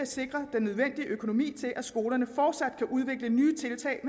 sikre den nødvendige økonomi til at skolerne fortsat kan udvikle nye tiltag